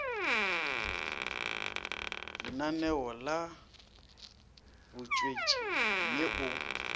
lenaneong la botswetši mme o